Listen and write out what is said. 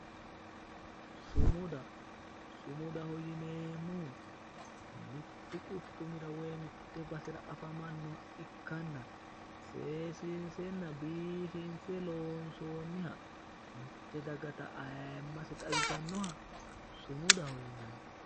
Sumuda sumudaho yinemmohu mittu quchumira woyi basera afamannoha ikkanna seessiinsenna biifinse loonsoonniha mitte dagata ayiimmase xawisannoha sumudaho yinanni.